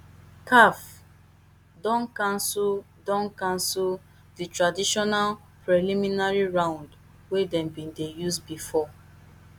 caf don cancel don cancel di traditional preliminary round wey dem bin dey use bifor